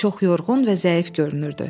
O çox yorğun və zəif görünürdü.